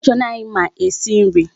Matron anyị ma esi nri.